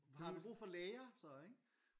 Har vi brug for læger så ikke?